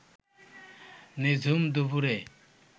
নিঝুম দুপুরে